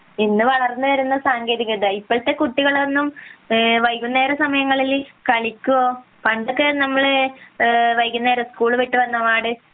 ഇന്ന് വളർന്നു വരുന്ന സാങ്കേതികത ഇപ്പോഴത്തെ കുട്ടികളൊന്നും വൈകുന്നേര സമയങ്ങളിൽ കളിക്കുകയോ പണ്ടൊക്കെ നമ്മൾ വൈകുന്നേരം സ്കൂൾ വിട്ടു വന്ന ഉടനെ